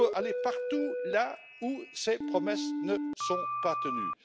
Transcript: Il faut aller partout là où ces promesses ne sont pas tenues.